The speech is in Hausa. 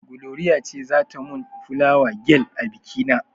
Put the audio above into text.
Gloria ce za ta mun fulawa gel a biki na.